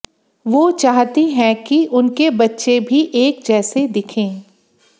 वो चाहती हैं कि उनके बच्चे भी एक जैसे दिखें